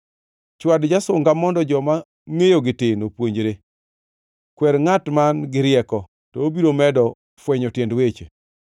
Chwad jasunga mondo joma ngʼeyogi tin opuonjre; kwer ngʼat man-gi rieko, to obiro medo fwenyo tiend weche.